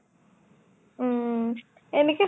উম এনেকে